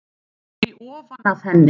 Sviptir því ofan af henni.